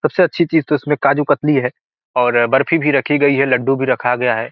सबसे अच्छी चीज तो इसमे काजू कतली है और बर्फ़ी भी रखी गई है लड्डू भी रखा गया है।